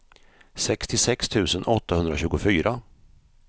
sextiosex tusen åttahundratjugofyra